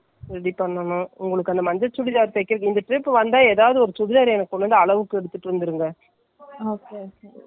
நல்லா ஆதி பாதமா இருக்க மாதிரி இப்போ போடுற மாதிரி ஒரு சுடிதார்.ஏன் என்னோட சுடிதார் ஒன்னு கொடுத்தேன் இல்ல அது correct ஆ இருக்குல்ல.